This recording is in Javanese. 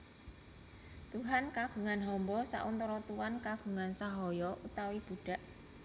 Tuhan kagungan hamba sauntara Tuan kagungan sahaya utawi budak